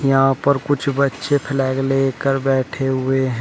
यहां पर कुछ बच्चे फ्लैग लेकर बैठे हुए हैं।